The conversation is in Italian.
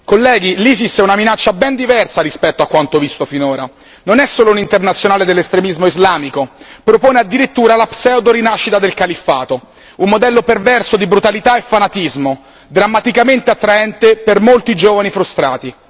Colleghi, l'ISIS è una minaccia ben diversa rispetto a quanto visto finora. Non è solo un'internazionale dell'estremismo islamico, propone addirittura la pseudo rinascita del califfato, un modello perverso di brutalità e fanatismo, drammaticamente attraente per molti giovani frustrati.